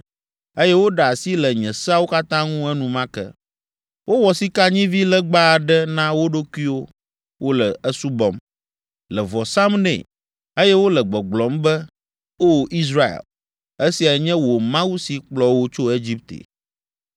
eye woɖe asi le nye seawo katã ŋu enumake. Wowɔ sikanyivilegba aɖe na wo ɖokuiwo. Wole esubɔm, le vɔ sam nɛ, eye wole gbɔgblɔm be, ‘O Israel, esiae nye wò mawu si kplɔ wò tso Egipte.’ ”